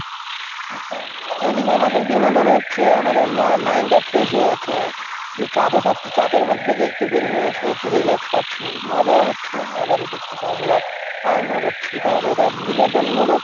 হ্যাঁ এদিকে আমাদের বিনোদন হচ্ছে আমাদের mind টা fresh হয়ে যাচ্ছে যে চাপে থাকছি চাপের মধ্যে থেকে একটু বের হয়ে এসে একটু relax পাচ্ছি মজাও হচ্ছে আবার এদিক থেকে আমরা earn ও করছি তাহলে এটা বিনোদন মূলক,